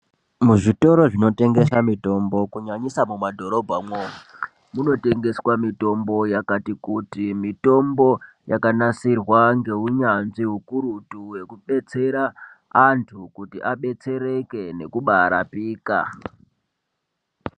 Kuzvitoro zvinotengesa mutombo kunyanyisa mumadhorobhamwo munotengeswa mitombo yakati kuti mitombo yakanasirwa ngeunyanzvi ukurutu hwekudetsera antu kuti abetsereke nekubaa rapika.